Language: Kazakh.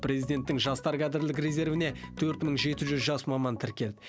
президенттің жастар кадрлік резервіне төрт мың жеті жүз жас маман тіркелді